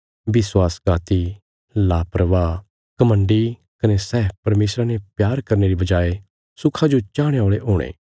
विश्वासघाती लापरवाह घमण्डी कने सै परमेशरा ने प्यार करने री बजाय सुखा जो चाहणे औल़े हुणे